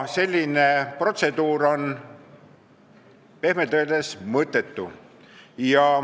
Selline protseduur on pehmelt öeldes mõttetu.